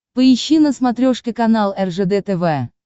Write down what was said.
поищи на смотрешке канал ржд тв